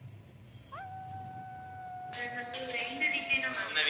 sir இந்த week கே நான் வரலாமா